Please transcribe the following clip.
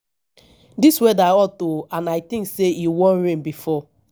dis weather hot oo and i think say e wan rain before